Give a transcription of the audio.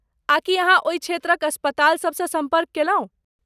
आ की अहाँ ओहि क्षेत्रक अस्पाताल सबसँ सम्पर्क केलहुँ?